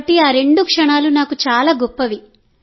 కాబట్టి ఆ రెండు క్షణాలు నాకు చాలా గొప్పవి